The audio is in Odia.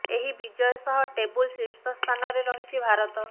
ଏହି ବିଜୟ ସହ ଟେବୁଲ ଶୀର୍ଷ ସ୍ଥାନରେ ରହିଛି ଭାରତ